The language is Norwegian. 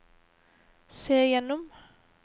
se gjennom